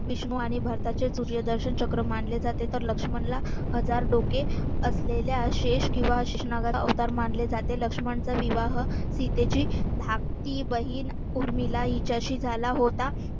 विष्णू आणि भरताचे सूर्यदर्शन चक्र मानले जाते तर लक्ष्मणला हजार डोके असलेल्या शेष किंवा शेषनागाचा अवतार मानले जाते लक्ष्मणचा विवाह सीतेची धाकटी बहीण उर्मिला हिच्याशी झाला होता.